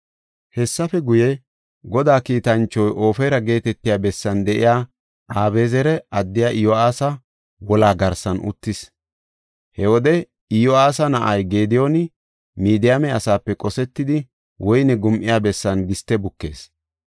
Hessafe guye, Godaa kiitanchoy Ofira geetetiya bessan de7iya Abezeera addiya Iyo7aasa wolaa garsan uttis. He wode Iyo7aasa na7ay Gediyooni Midiyaame asaape qosetedi woyne gum7iya bessan giste bukees.